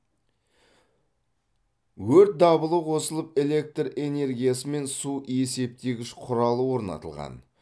өрт дабылы қосылып электр энергиясы мен су есептегіш құралы орнатылған